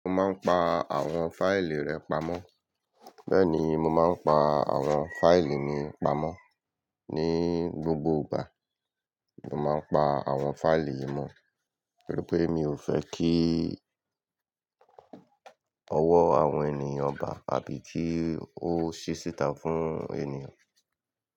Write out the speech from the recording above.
Mo máa ń pa àwọn fáìlì rẹ pamọ́. Bẹ́ẹ̀ ni, mo máa ń pa àwọn fáìlì mi pamọ́ ní gbogbo ìgbà. Mo máa ń pa àwọn fáìlì yìí mọ́ nítorí pé mi ò fẹ́ kí ọwọ́ àwọn ènìyàn bà á bíi kí ó ṣíṣi itán fún ènìyàn.